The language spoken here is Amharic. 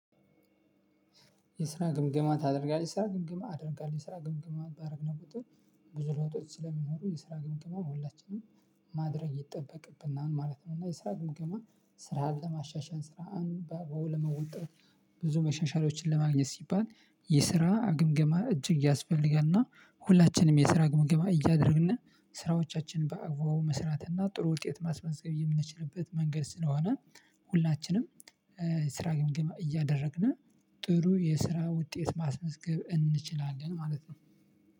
የስራ ግምግማ ታደርጋለህ የስራ ግምግማ አደርጋለው የስራ ግምግማ ባረግነው ቁጥር ብዙ ለውጦች ስለሚኖሩ የስራ ግምግማው ሁላችንም ማድረግ ይጠበቅብናል ማለት ነው። እና የስራ ግምግማ ስራ ለማሻሻል ስራን በውል ለመወጣት። ብዙ መሻሻሎችን ለማግኘት ሲባል የስራ ግምገማ እጅግ ያስፈለጋል። እና ሁላችንም የስራ ግምገማ እያደረግን ስራዎቻችንን በአግባቡ መስራትና እና ጥሩ ውጤት ማስመዝገብ የምንችልበት መንገድ ስለሆነ። ሁላችንም ስራ ግምገማ እያደረግን ጥሩ የስራ ውጤት ማስመዝገብ እንችላለን ማለት ነው።